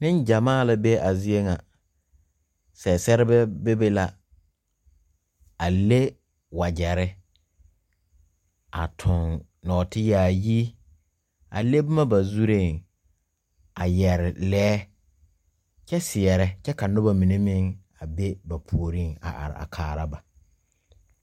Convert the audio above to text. Ninjamaa la be a zeɛ nga sesereba bebe la a le wajeri a tuon noɔti yaayi a le buma ba zuree a yere leɛ kye seɛre kye ka nuba mene meng a be ba pouring a arẽ a kaara ba.